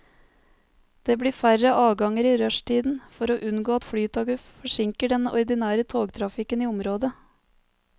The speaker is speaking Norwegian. Det blir færre avganger i rushtiden, for å unngå at flytoget forsinker den ordinære togtrafikken i området.